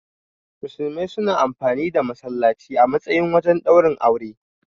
Musulmai suna amfani da. masallaci a matsayin wajen ɗaurin aure.